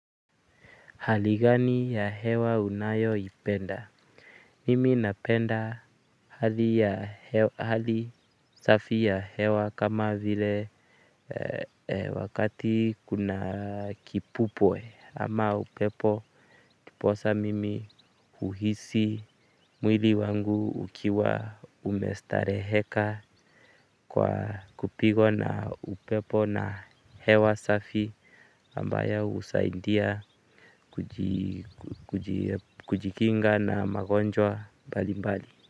Hali gani ya hewa unayo ipenda? Mimi napenda hali safi ya hewa kama vile wakati kuna kipupoe ama upepo. Ndiposa mimi uhisi mwili wangu ukiwa umestareheka kwa kupigwa na upepo na hewa safi ambayo hunisaidia kujikinga na magonjwa mbalimbali.